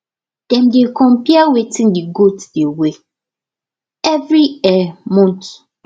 dem dey compare wetin the goat dey weigh every um month